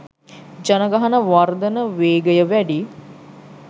ජනගහන වර්ධන වේගය වැඩි